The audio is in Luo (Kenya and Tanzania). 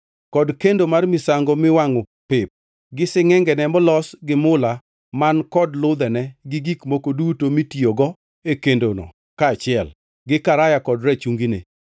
kod kendo mar misango miwangʼo pep, gi singʼengene molos gi mula man kod ludhene gi gik moko duto mitiyogo e kendono kaachiel gi karaya kod rachungine,